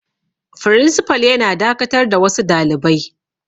Firinsifal yana dakatar da wasu dalibai.